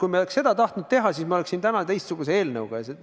Kui me oleks seda tahtnud teha, siis me oleks siin täna teistsuguse eelnõuga.